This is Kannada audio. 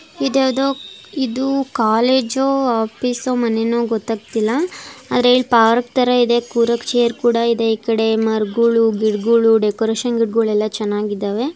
ಈದ್ ಯಾವುದೊ ಇದು ಕೊಲೇಜೋ ಆಫೀಸೋ ಮನೆನೋ ಗೊತ್ತಾಗ್ತಾ ಇಲ್ಲ. ಇದು ಪಾರ್ಕ್ ತರ ಇದೆ ಕೂತ್ಕೊಳ್ಳೋಕೆ ಚೇರ್ದೆ ಈ ಕಡೆ ಮರಗಳು ಗಿಡಗಳು ಡೆಕೋರೇಷನ್ ಗಿಡಗಳು. ಚೆನ್ನಾಗಿದ್ದಾವೆ.